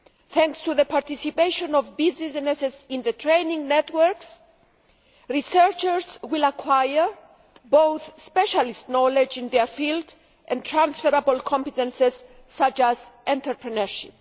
Thanks to the participation of businesses in the training networks, researchers will acquire both specialist knowledge in their field and transferable competences such as entrepreneurship.